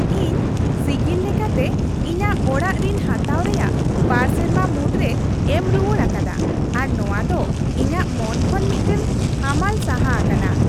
ᱤᱧ ᱥᱤᱜᱤᱞ ᱞᱮᱠᱟᱛᱮ ᱤᱧᱟᱹᱜ ᱚᱲᱟᱜ ᱨᱤᱱ ᱦᱟᱛᱟᱣ ᱨᱮᱭᱟᱜ ᱒ ᱥᱮᱨᱢᱟ ᱢᱩᱫᱨᱮᱧ ᱮᱢ ᱨᱩᱣᱟᱹᱲ ᱟᱠᱟᱫᱟ ᱟᱨ ᱱᱚᱶᱟ ᱫᱚ ᱤᱧᱟᱹᱜ ᱢᱚᱱ ᱠᱷᱚᱱ ᱢᱤᱫᱴᱟᱝ ᱦᱟᱢᱟᱞ ᱥᱟᱦᱟ ᱟᱠᱟᱱᱟ ᱾